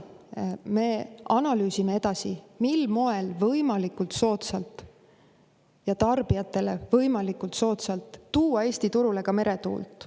Me analüüsime edasi, mil moel võimalikult soodsalt tarbijatele tuua Eesti turule ka meretuult.